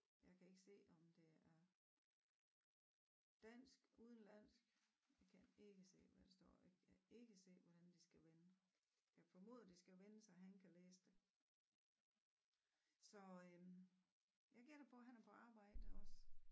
Jeg kan ikke se om det er dansk udenlandsk kan ikke se hvad der står jeg kan ikke se hvordan det skal vende jeg formoder det skal vende så han kan læse det så øh jeg gætter på han er på arbejde også